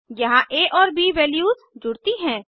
यहाँ आ और ब वैल्यूज जुड़ती हैं